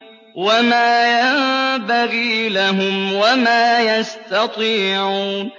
وَمَا يَنبَغِي لَهُمْ وَمَا يَسْتَطِيعُونَ